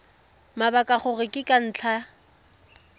mabaka gore ke ka ntlha